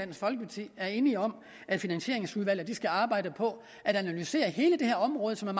folkeparti er enige om at finansieringsudvalget skal arbejde på at analysere hele det her område som er